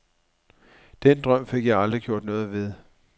Den drøm fik jeg aldrig gjort noget ved.